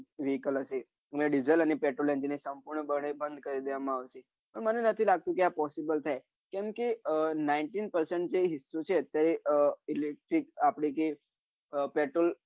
હશે અને diesel અને petrolsuccessful ને સંપૂર્ણ પણે બન કરી દેવા માં આવશે મને નથી લાગતું કે આ possible છે કેમકે percent આહ petrol